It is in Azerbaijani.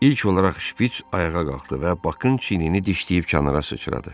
İlk olaraq şpiç ayağa qalxdı və Bakın çiynini dişləyib kənara sıçradı.